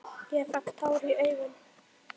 Ég fékk tár í augun.